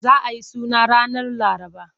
Za a yi suna ranar Laraba.